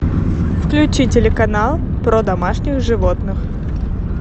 включи телеканал про домашних животных